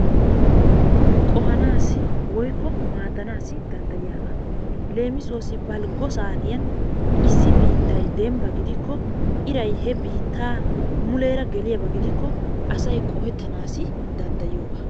Qohanaassi woykko madanaassi danddayiyaaga. Leemissuwasi balggo saattiyan issi biittay dembba gidikko iray he biittaa muleera gelliyaba gidikko asay qohettanaassi danddayiyooba.